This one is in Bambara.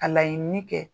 Ka laɲini kɛ